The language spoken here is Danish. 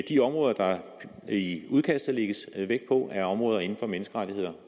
de områder der i udkastet lægges vægt på er områder inden for menneskerettigheder